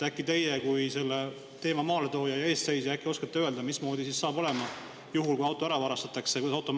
Äkki teie kui selle teema maaletooja ja eestseisja oskate öelda, mismoodi hakkab olema juhul, kui auto ära varastatakse?